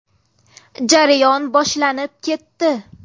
Jarayon boshlanib ketdi.